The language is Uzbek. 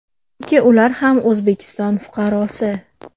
Chunki ular ham O‘zbekiston fuqarosi.